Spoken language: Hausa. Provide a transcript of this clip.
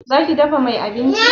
Za ki dafa mai abinci?